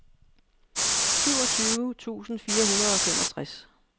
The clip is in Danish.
syvogtyve tusind fire hundrede og femogtres